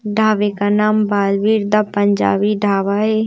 ढाबे का नाम बालवीर द पंजाबी ढाबा है।